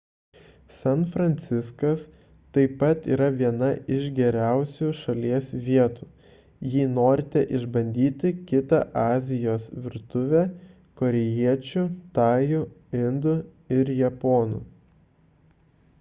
san fransiskas taip pat yra viena iš geriausių šalies vietų jei norite išbandyti kitą azijos virtuvę korėjiečių tajų indų ir japonų